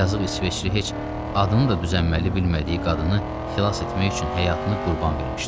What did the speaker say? Yazıq İsveçli heç adını da düz əməlli bilmədiyi qadını xilas etmək üçün həyatını qurban vermişdi.